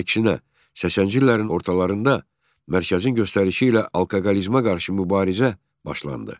Əksinə, 80-ci illərin ortalarında mərkəzin göstərişi ilə alkoqolizmə qarşı mübarizə başlandı.